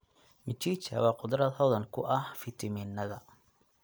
Mchicha waa khudrad hodan ku ah fitamiinada.